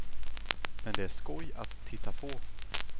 Men det är skoj att titta på.